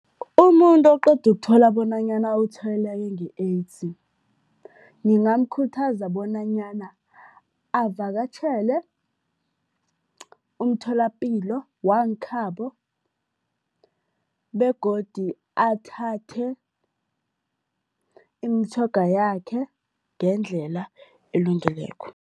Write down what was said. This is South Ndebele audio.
Umuntu oqede ukuthola bonanyana utshwayeleke nge-AIDS, ngingamkhuthaza bonanyana avakatjhele umtholapilo wangekhabo begodi athathe imitjhoga yakhe ngendlela elungileko.